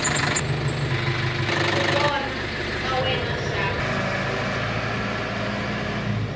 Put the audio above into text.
ku vona ka wena xana